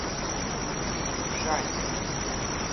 шарья